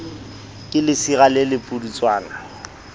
ke lesira le le pudutswana